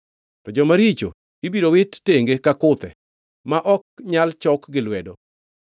To joma richo ibiro wit tenge ka kuthe ma ok nyal chok gi lwedo.